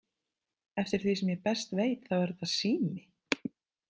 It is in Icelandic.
Eftir því sem ég best veit þá er þetta sími!